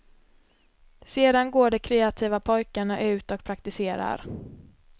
Sedan går de kreativa pojkarna ut och praktiserar.